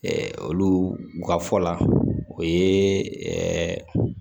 olu ka fɔ la o ye